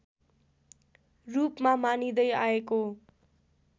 रूपमा मानिँदै आएको